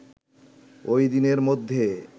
ওইদিনের মধ্যে